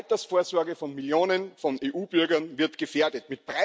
Die Altersvorsorge von Millionen von EU Bürgern wird gefährdet.